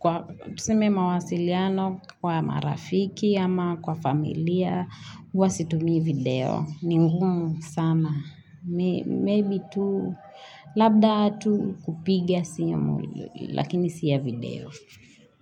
Kwa sime mawasiliano kwa marafiki ama kwa familia, uwa situmi video. Ningumu sama. Maybe tu labda atu kupigia siyamu lakini siya video.